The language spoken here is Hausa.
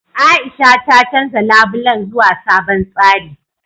A'isha ta canja labulen zuwa sabon tsari.